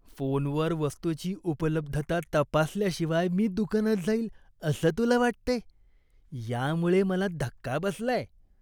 फोनवर वस्तूची उपलब्धता तपासल्याशिवाय मी दुकानात जाईन असं तुला वाटतंय, यामुळे मला धक्का बसलाय.